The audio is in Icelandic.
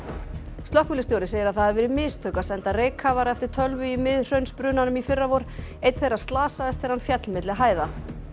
slökkviliðsstjóri segir að það hafi verið mistök að senda reykkafara eftir tölvu í Miðhraunsbrunanum í fyrravor einn þeirra slasaðist þegar hann féll milli hæða